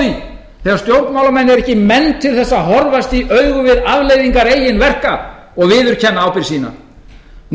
því þegar stjórnmálamenn eru ekki menn til þess að horfast í augu við afleiðingar eigin verka og viðurkenna ábyrgð sína